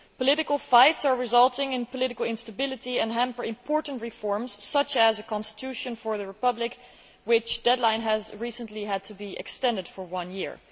Political fights are resulting in political instability and hamper important reforms such as a constitution for the republic, the deadline for which has recently had to be extended for one year.